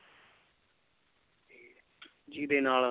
ਜਿਹਦੇ ਨਾਲ